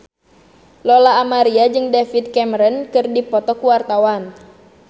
Lola Amaria jeung David Cameron keur dipoto ku wartawan